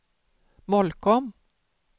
Molkom